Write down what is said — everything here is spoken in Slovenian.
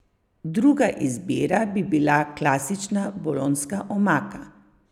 Druga izbira bi bila klasična bolonjska omaka.